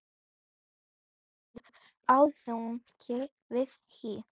Ragný er aðjunkt við HÍ.